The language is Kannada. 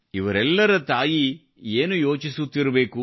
ಇವರೆಲ್ಲರ ತಾಯಿ ಏನು ಯೋಚಿಸುತ್ತಿರಬೇಕು